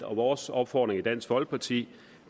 vores opfordring i dansk folkeparti